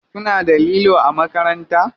Kuna da lilo a makaranta?